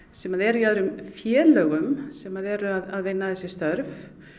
sem eru í öðrum félögum sem eru að vinna þessi störf